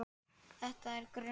Ef það er grun